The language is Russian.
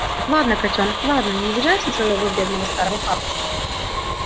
ладно котёнок ладно не обижайся на своего бедного старого папку